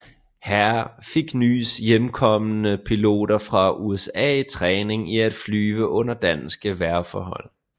Her fik nys hjemkomne piloter fra USA træning i at flyve under danske vejrforhold